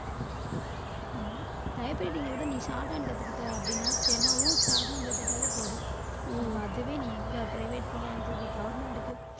ஆமா typewriting விட நீ shorthand கத்துக்கிட்டே அப்படின்னா steno வும் shorthand கத்துக்கிட்டாலே போதும் உங்களுக்கு அதுவே நீ எங்க private போனாலும் சரி government க்கு